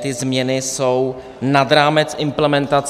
změny jsou nad rámec implementace.